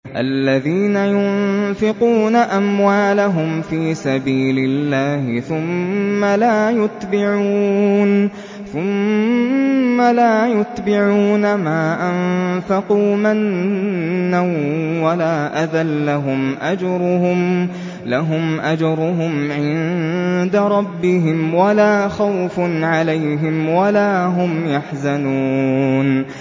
الَّذِينَ يُنفِقُونَ أَمْوَالَهُمْ فِي سَبِيلِ اللَّهِ ثُمَّ لَا يُتْبِعُونَ مَا أَنفَقُوا مَنًّا وَلَا أَذًى ۙ لَّهُمْ أَجْرُهُمْ عِندَ رَبِّهِمْ وَلَا خَوْفٌ عَلَيْهِمْ وَلَا هُمْ يَحْزَنُونَ